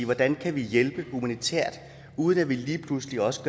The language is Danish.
hvordan kan vi hjælpe humanitært uden at vi lige pludselig også